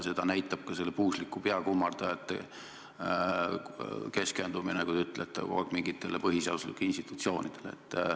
Seda näitab ka selle puusliku peakummardajate keskendumine, nagu te ütlete, kogu aeg mingitele põhiseaduslikele institutsioonidele.